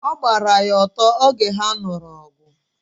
ọ gbara ya ọtọ oge ha nuru ogu